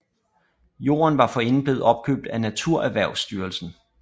Jorden var forinden blevet opkøbt af NaturErhvervstyrelsen